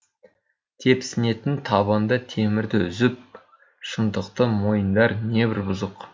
тепсінетін табанда темірді үзіп шындықты мойындар небір бұзық